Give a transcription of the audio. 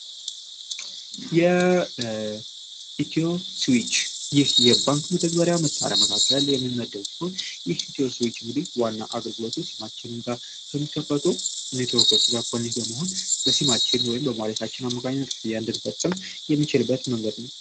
የኢትዮስዊች ይህ የባንክ መጠግበሪያ መሣሪያ መካከል የሚመደው ሲሆን ይህ ሂትዮስዊችh እንግዲ ዋና አገልግሎቱ ሲማችን እንጋር ከሚከፈቶ ኔቶርኮች ጋር ኮኔት በመሆን በሲማችን ወይም በማዋሊታችን አማካኘነትያንድንፈጽም የሚችልበት መንገድ ነው።